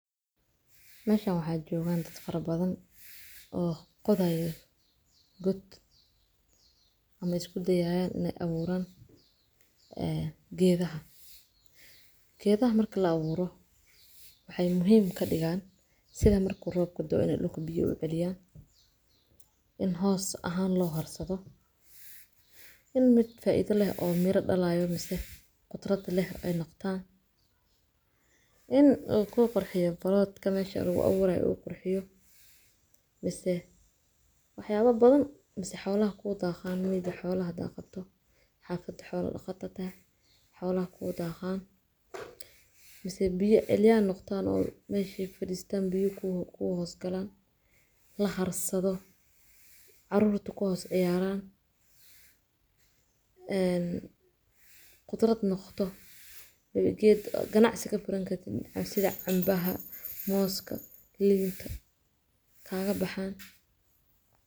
Meshaan waxaa joogan dad farabadan oo qodayaan kood ama isku dayayaan in ay aburaan geedaha. Geedaha marka la aburo waxay muhiim ka dhigaan sida marka roobka da’o in ay dhulka biyaha u celiyaan, in hoos ahaan loo harsado, in mid faa'iido leh oo miro dhalayo misee qudaar leh noqdo, in uu ku qurxiyo plot-ka meesha lagu aburayo uu qurxiyo, misee waxyaalo badan, misee xoolaha ku dhaqdo, misee biyo celiya noqdaan. Meesha ay fadhiyaan biyaha ku hoos galaan, la harsado, carruurtu ku hoos ciyaaraan, qudarat noqoto, ganacsi ka furan kartid sida cambaha, mooska, liinta kaga baxaan.